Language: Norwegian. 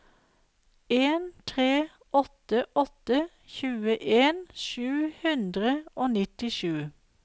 en tre åtte åtte tjueen sju hundre og nittisju